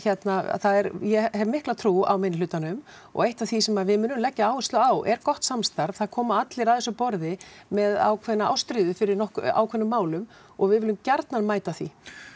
og ég hef mikla trú á minni hlutanum og eitt af því sem við munum leggja áherslu á er gott samstarf það koma allir að þessu borði með ákveðna ástríðu fyrir ákveðnum málum og við viljum gjarnan mæta því